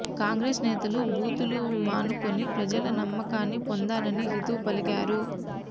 కాంగ్రెస్ నేతలు బూతులు మానుకుని ప్రజల నమ్మకాన్ని పొందాలని హితవు పలికారు